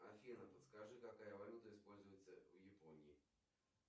афина подскажи какая валюта используется в японии